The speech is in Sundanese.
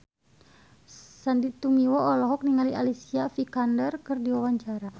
Sandy Tumiwa olohok ningali Alicia Vikander keur diwawancara